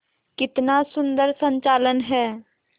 कितना सुंदर संचालन है